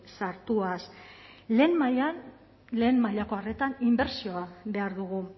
sartuaz lehen mailan lehen mailako arretan inbertsioa behar dugu